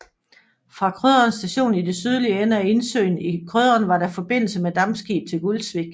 Fra Krøderen Station i den sydlige ende af indsøen Krøderen var der forbindelse med dampskib til Gulsvik